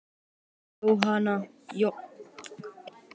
Þín, Jón og Anna.